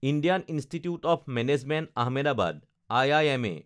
Indian institute of management Ahmedabad (I I M A)